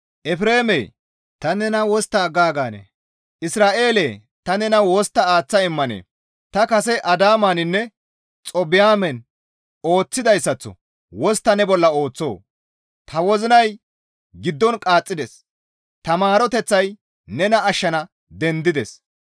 «Efreemee! Ta nena wostta aggaaganee? Isra7eele ta nena wostta aaththa immanee? Ta kase Adaamaninne Xaboymen ooththidayssaththo wostta ne bolla ooththoo? Ta wozinay giddon qaaxxides; ta maaroteththay nena ashshana dendides.